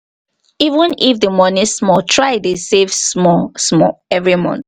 even if di money small try dey save small small every month